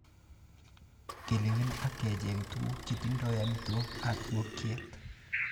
Kelewen ak kecheng tuguk chetindoi amitwogik ab ingokyet.